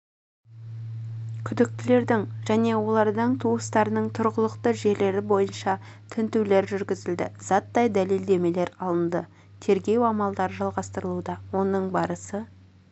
күдіктілердің және олардың туыстарының тұрғылықты жерлері бойынша тінтулер жүргізілді заттай дәлелдемелер алынды тергеу амалдарыжалғастырылуда оның барысы